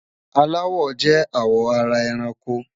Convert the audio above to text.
Àláwọ̀ jẹ́ àwọ̀ ara èrànkò.